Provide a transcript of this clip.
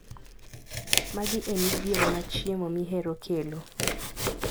Magi emidhiero ma chiemo mihero kelo.